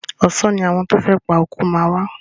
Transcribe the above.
Ọ̀sán ni àwọn tí o fẹ́ pa oko máa wá.